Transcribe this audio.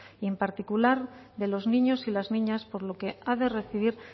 y en particular de los niños y las niñas por lo que ha de recibir